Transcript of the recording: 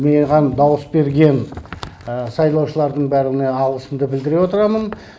маған дауыс берген сайлаушылардың бәріне алғысымды білдіре отырамын